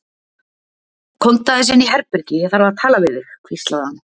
Komdu aðeins inn í herbergi, ég þarf að tala við þig hvíslaði hann.